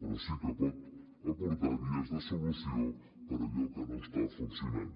però sí que pot aportar vies de solució per a allò que no està funcionant